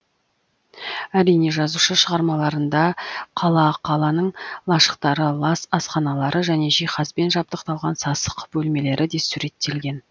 әрине жазушы шығармаларында қала қаланың лашықтары лас асханалары және жиһазбен жабдықталған сасық бөлмелері де суреттелген